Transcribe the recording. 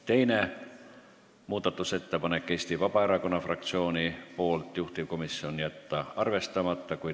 Teine muudatusettepanek on Eesti Vabaerakonna fraktsiooni esitatud, juhtivkomisjoni otsus: jätta arvestamata.